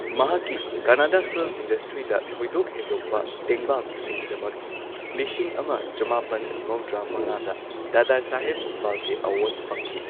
ꯃꯍꯥꯛꯀꯤ ꯀꯟꯅꯗꯥ ꯐꯤꯜꯝ ꯏꯟꯗꯁꯇ꯭ꯔꯤꯗ ꯊꯣꯏꯗꯣꯛ ꯍꯦꯟꯗꯣꯛꯄ ꯇꯦꯡꯕꯥꯡꯁꯤꯡꯒꯤꯗꯃꯛ ꯂꯤꯁꯤꯡ ꯑꯃ ꯆꯃꯥꯄꯟ ꯃꯧꯗ꯭ꯔꯥ ꯃꯉꯥꯗ ꯗꯥꯗꯥꯁꯥꯍꯦꯕ ꯐꯥꯜꯀꯦ ꯑꯦꯋꯥꯔꯗ ꯐꯪꯈꯤ꯫